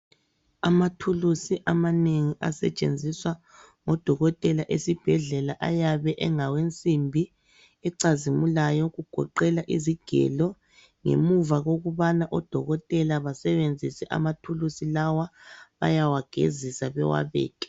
Amathuluzi amanengi asetshenziswa ngabodokotela esibhedlela ayabe engawensimbi ecazimulayo okugoqela izigelo. Ngemuva kokubana odokotela basebenzise amathuluzi lawa bayawagezisa bewabeke.